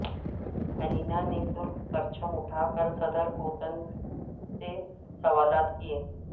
Elena نےترک پرچم اٹھا کر صدر پوتن سے سوالات کیے